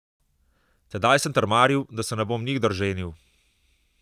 Tedaj sem trmaril, da se ne bom nikdar ženil.